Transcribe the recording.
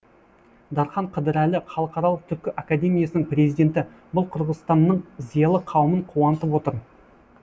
дархан қыдырәлі халықаралық түркі академиясының президенті бұл қырғызстанның зиялы қауымын қуантып отыр